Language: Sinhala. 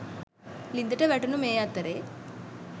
ලිඳට වැටුන මේ අතරෙ.